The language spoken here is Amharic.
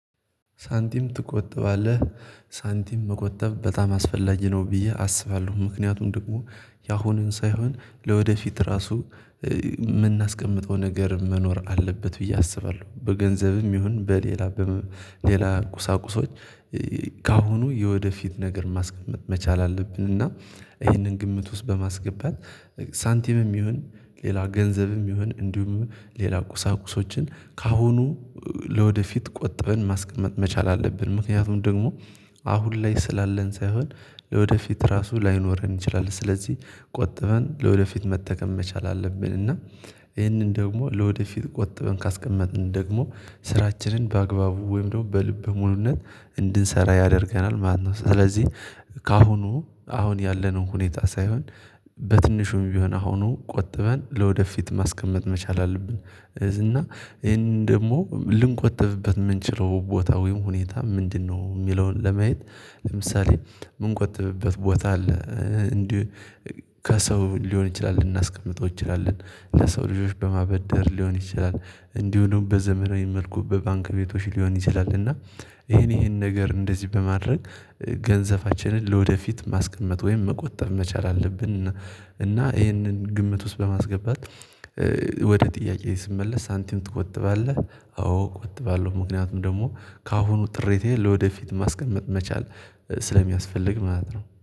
ሳንቲም ትቆጠባለህ? ሳንቲም መቆጠብ በጣም አስፈላጊ ነው ብዬ አስባለሁ ምክንያቱም ደግሞ ያሁኑን ሳይሆን ለወደፊት ራሱ ምናስቀምጠው ነገር መኖር አለበት ብዬ አስባለሁ በገንዘብም ይሁን በሌላ ሌላ ቁሳቁሶች ከአሁኑ የወደፊት ነገር ማስቀመጥ መቻል አለብን እና ይሄንን ግምት ውስጥ በማስገባት ሳንቲምም ይሁን ሌላ ገንዘብም ይሁን እንዲሁም ሌላ ቁሳቁሶችን ካሁኑ ለወደፊት ቆጥበን ማስቀመጥ መቻል አለብን። ምክንያቱም ደግሞ አሁን ላይ ስላለን ሳይሆን ለወደፊት ራሱ ላይኖረን ይችላል ስለዚህ ቆጥበን ለወደፊት መጠቀም መቻል አለብን እና ይሄንን ደግሞ ለወደፊት ቆጥበን ካስቀመጥን ደግሞ ስራችንን በአግባቡ ወይም ደግሞ በልበ ሙሉነት እንድንሰራ ያደርገናል ማለት ነው። ስለዚህ ከአሁኑ አሁን ያለንን ሁኔታ ሳይሆን በትንሹም ቢሆን አሁኑ ቆጥበን ለወደፊት ማስቀመጥ መቻል አለብን። እና ይሄን ደግሞ ልንቆጥብበት የምንችለው ቦታ ወይም ሁኔታ ምንድነው የሚለውን ለመየት? ለምሳሌ የምንቆጥብበት ቦታ አለ እንዲህ ከሰው ሊሆን ይችላል ልናስቀምጠው እንችላለን። ለሰው ልጆች በማበደር ሊሆን ይችላል። እንዲሁ ደግሞ በዘመናዊ መልኩ በባንክ ቤቶች ሊሆን ይችላል። እና ይሄን ይሄን ነገር እንደዚህ በማድረግ ገንዘባችንን ለወደፊት ማስቀመጥ ወይም መቆጠብ መቻል አለብን። እና ይሄንን ግምት ውስጥ በማስገባት ወደ ጥያቄ ስመለስ ሳንቲም ትቆጥባለህ? አዎ እቆጥባለሁ ምክንያቱም ደግሞ ከአሁኑ ጥሪቴ ለወደፊት ማስቀመጥ መቻል ስለሚያስፈልግ ማለት ነው